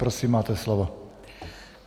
Prosím máte slovo.